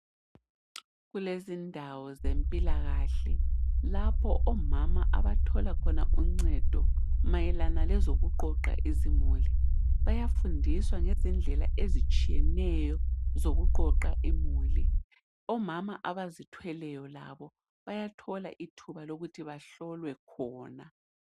Kulezindawo zempilakahle lapho omama abathola khona uncedo mayelana ngoqoqa izimuli. Bayafundiswa indlela ezitshiyeneyo zokuqoqa imuli. Omama abazithweleyo labo bayathola ithuba lokuthi bahlolwe khona.